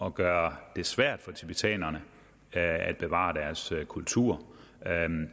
at gøre det svært for tibetanerne at bevare deres kultur